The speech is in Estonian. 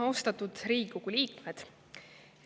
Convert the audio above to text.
Austatud Riigikogu liikmed!